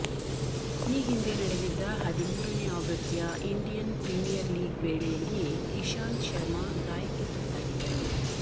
ಈ ಹಿಂದೆ ನಡೆದಿದ್ದ ಹದಿಮೂರನೇ ಆವೃತ್ತಿಯ ಇಂಡಿಯನ್ ಪ್ರೀಮಿಯರ್ ಲೀಗ್ ವೇಳೆಯಲ್ಲಿಯೇ ಇಶಾಂತ್ ಶರ್ಮಾ ಗಾಯಕ್ಕೆ ತುತ್ತಾಗಿದ್ದರು